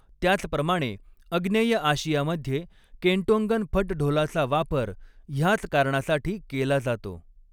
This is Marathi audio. त्याचप्रमाणे आग्नेय आशियामध्ये, केंटोंगन फट ढोलाचा वापर ह्याच कारणासाठी केला जातो.